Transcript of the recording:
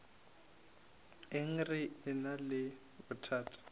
eng re ena le bothata